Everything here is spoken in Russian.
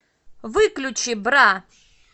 выключи бра